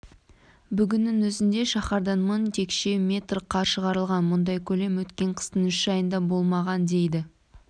бүгіннің өзінде шаһардан мың текше метр қар шығарылған бұндай көлем өткен қыстың үш айында болмаған дейді